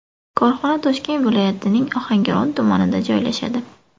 Korxona Toshkent viloyatining Ohangaron tumanida joylashadi.